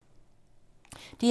DR1